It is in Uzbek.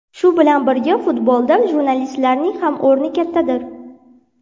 Shu bilan birga, futbolda jurnalistlarning ham o‘rni kattadir.